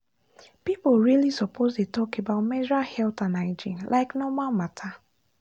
people really suppose dey talk about menstrual health and hygiene like normal matter